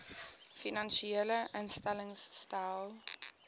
finansiële instellings stel